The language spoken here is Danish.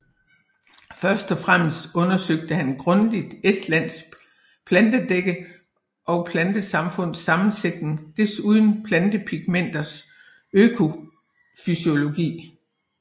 Først og fremmest undersøgte han grundigt Estlands plantedække og plantesamfunds sammensætning desuden plantepigmenters økofysiologi